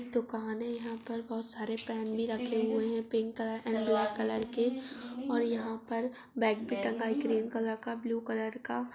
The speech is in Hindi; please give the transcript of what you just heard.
दुकान है यहां पर बोहोत सारे पेन भी रखें हुए हैं pink colour and black colour के और यहां पर बैग भी टंगा है ग्रीन कलर का ब्लू कलर का।